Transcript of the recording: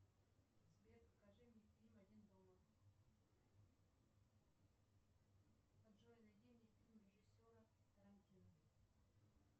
сбер покажи мне фильм один дома джой найди мне фильм режиссера тарантино